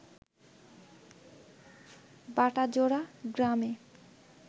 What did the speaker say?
বাটাজোড়া গ্রামে